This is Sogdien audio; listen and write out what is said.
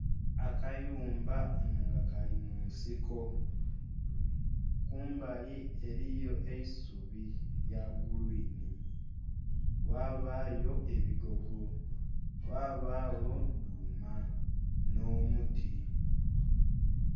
Akayumba nga kalimunsiko, kumbali eriyo eisubi erya "green" wabayo ebigogo, wabagho dhuma n'omuti.